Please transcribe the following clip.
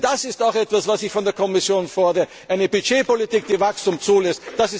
Denn das ist auch etwas, was ich von der Kommission fordere eine Budgetpolitik, die Wachstum zulässt.